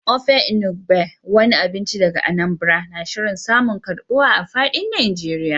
Ofe Enugbe, wani abinci daga Anambra, na shirin samun karbuwa a fadin Najeriya.